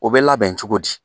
O bɛ labɛn cogo di.